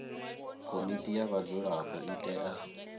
komiti ya vhadzulapo i tea